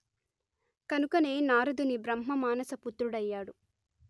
కనుకనే నారదుని బ్రహ్మ మానస పుత్రుడయ్యాడు